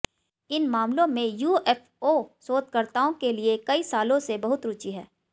इन मामलों में यूएफओ शोधकर्ताओं के लिए कई सालों से बहुत रुचि है